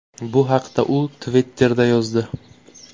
Bu haqda u Twitter’da yozdi .